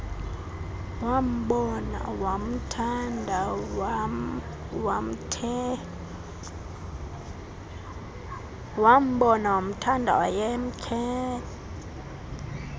wambona wamthanda wayemthe